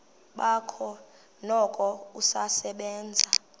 bakhe noko usasebenza